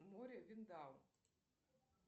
море виндау